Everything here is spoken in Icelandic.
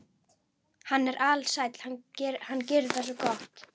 Hann er alsæll, hann gerir það svo gott.